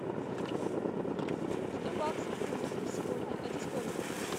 сто баксов в фунтах на сегодня это сколько